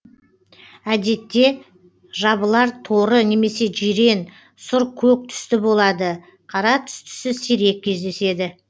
әдетте жабылар торы немесе жирен сұр көк түсті болады қара түстісі сирек кездеседі